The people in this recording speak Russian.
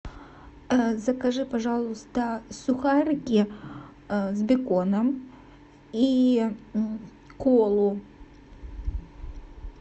закажи пожалуйста сухарики с беконом и колу